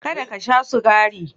Kada ka sha sukari!